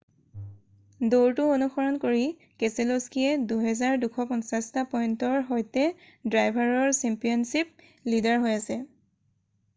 দৌৰটো অনুসৰণ কৰি কেছেল'স্কিয়ে 2,250 টা পইন্টৰ সৈতে ড্ৰাইভাৰৰ চেম্পিয়নছিপ লীডাৰ হৈ আছে৷